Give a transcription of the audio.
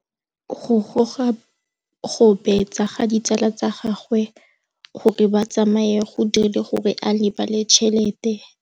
Go gobagobetsa ga ditsala tsa gagwe, gore ba tsamaye go dirile gore a lebale tšhelete.